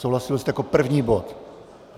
Souhlasil jste, jako první bod.